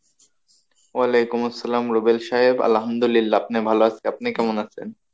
ওয়ালেকুম আসসালাম রুবেল সাহেব আল্লামুহাদিল্লাহ আপনি ভালো আছে আপনি কেমন আছেন?